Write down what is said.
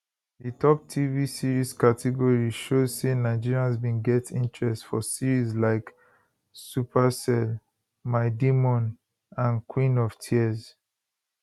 di top tv series category show say nigerians bin get interest for series like supacell my demon and queen of tears